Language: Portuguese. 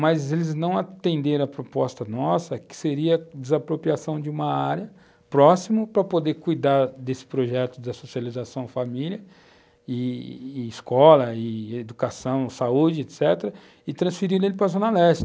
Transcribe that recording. mas eles não atenderam a proposta nossa, que seria a desapropriação de uma área próxima para poder cuidar desse projeto de socialização, família, i-i escola, educação, saúde, etc., e transferiram ele para a Zona Leste.